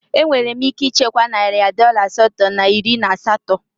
Enwela m ike ichekwa narị dọla asatọ na iri na asatọ.